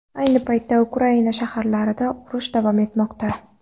Ayni paytda Ukraina shaharlarida urush davom etmoqda.